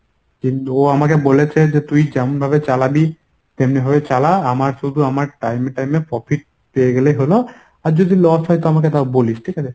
ও আমাকে বলেছে যে তুই যেমন ভাবে চালাবি তেমনিভাবে চালা আমার শুধু আমার time এ time এ profit পেয়ে গেলে হল, আর যদি loss হয় তো আমাকে তাও বলিস ঠিকাছে?